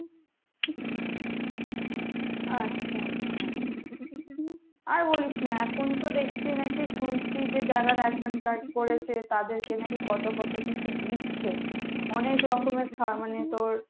আচ্ছা আচ্ছা আর বলিস না এখন তো দেখছি নাকি শুনছি যে যারা ration card করেছে তাদের কে নাকি কত কত কিছু দিচ্ছে , অনেক রকমের খাবার মানে তোর